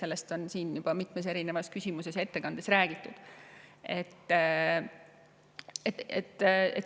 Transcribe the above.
Sellest on siin juba mitmes küsimuses ja ka ettekandes räägitud.